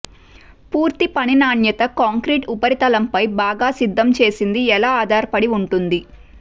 పూర్తి పని నాణ్యత కాంక్రీటు ఉపరితలంపై బాగా సిద్ధం చేసింది ఎలా ఆధారపడి ఉంటుంది